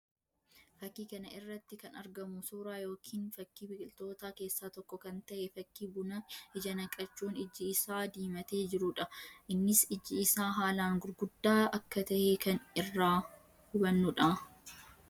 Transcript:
Fakkii kana irratti kan argamu suuraa yookiin fakkii biqilootaa keessaa tokko kan tahe fakkii buna ija naqachuun iji isaa diimatee jiruu dha. Innis iji isaa haalaan gurguddaa akka tahe kan irraa banuu dha.